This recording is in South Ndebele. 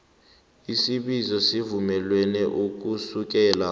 isibizo sivunyelwe ukusukela